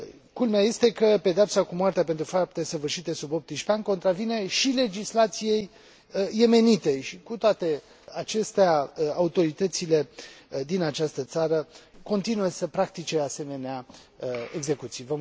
Culmea este că pedeapsa cu moartea pentru faptele săvârșite sub 18 ani contravine și legislației yemenite și, cu toate acestea, autoritățile din această țară continuă să practice asemenea execuții.